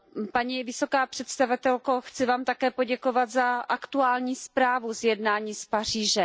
Paní vysoká představitelko, chci vám také poděkovat za aktuální zprávu z jednání z Paříže.